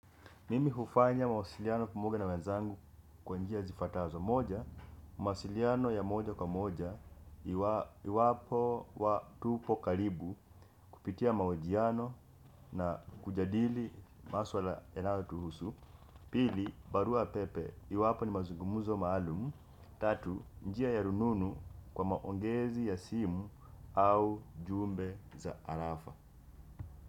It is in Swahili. Mimi hufanya mawasiliano pamoja na wenzangu kwa njia zifuatazo. Moja, mawasiliano ya moja kwa moja iwapo tupo karibu kupitia mahojiano na kujadili maswala yanayotuhusu. Pili, barua pepe, iwapo ni mazugumzo maalum. Tatu, njia ya rununu kwa maongezi ya simu au jumbe za arafa.